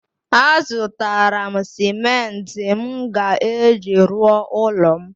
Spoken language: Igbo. A zụtara m simenti m ga-eji rụọ ụlọ m